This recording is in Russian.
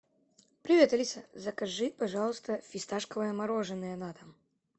привет алиса закажи пожалуйста фисташковое мороженое на дом